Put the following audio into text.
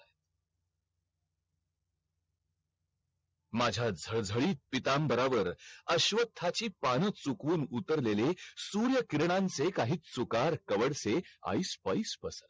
माझा झहल झ्हालीत पितांबरा वर अश्वथा ची पान चुकवून उतरलेले सूर्य किरणांचे काही चुकार कव्हर से आईस पाईस पसरलेले